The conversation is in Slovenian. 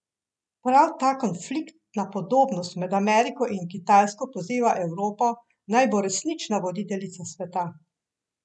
Prav ta konfliktna podobnost med Ameriko in Kitajsko poziva Evropo, naj bo resnična voditeljica sveta.